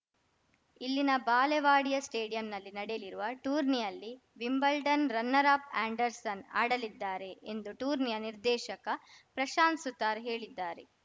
ಇಲ್ಲಿನ ಬಾಲೆವಾಡಿಯ ಸ್ಟೇಡಿಯಂನಲ್ಲಿ ನಡೆಯಲಿರುವ ಟೂರ್ನಿಯಲ್ಲಿ ವಿಂಬಲ್ಡನ್‌ ರನ್ನರ್‌ ಅಪ್‌ ಆ್ಯಂಡರ್ಸನ್‌ ಆಡಲಿದ್ದಾರೆ ಎಂದು ಟೂರ್ನಿಯ ನಿರ್ದೇಶಕ ಪ್ರಶಾಂತ್‌ ಸುತಾರ್‌ ಹೇಳಿದ್ದಾರೆ